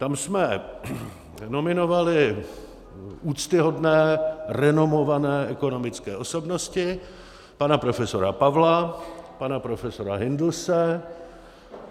Tam jsme nominovali úctyhodné renomované ekonomické osobnosti - pana profesora Pavla, pana profesora Hindlse.